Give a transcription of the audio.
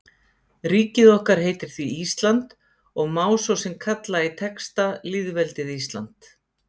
Ríkið okkar heitir því Ísland og má svo sem kalla í texta lýðveldið Ísland.